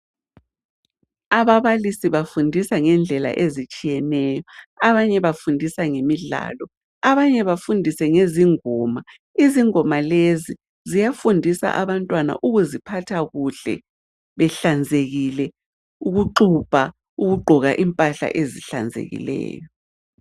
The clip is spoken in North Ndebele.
Ababalisi bafundisa ngendlela ezitshiyeneyo, abanye bafundisa ngemidlalo, abanye bafundise ngezingoma. Izingoma lezi ziyafundisa abantwana ukuziphatha kuhle, behlanzekile, ukuxubha, ukugqoka impahla ezihlanzekileyo.